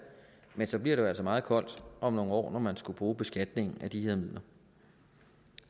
men så bliver det jo altså meget koldt om nogle år når man skulle have brugt beskatningen af de her midler